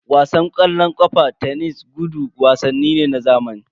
Wasan ƙwallon ƙafa, tenis, gudu wasanni ne na zamani.